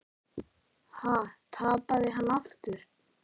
Ha, tapaði hann aftur?